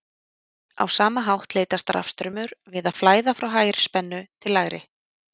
á sama hátt leitast rafstraumur við að flæða frá hærri spennu til lægri